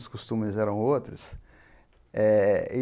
Os costumes eram outros. eh e